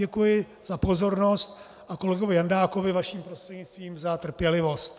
Děkuji za pozornost a kolegovi Jandákovi - vaším prostřednictvím - za trpělivost.